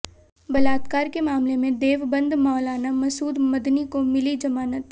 बलात्कार के मामले में देवबंद मौलाना मसूद मदनी को मिली जमानत